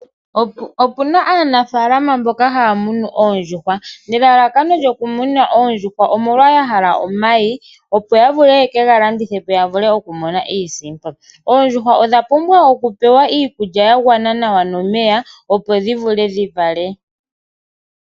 Opuna aanafaalama mboka haamunu oondjuhwa nelala kano lyoku muna oondjuhwa omolwa yahala omayi opo yavule yekega landithepo yavule okwii monena iisimpo pumbwa okupewa iikulya yagwana nawa nomeya opo dhivule dhivale.